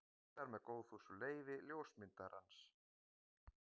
Birtar með góðfúslegu leyfi ljósmyndarans.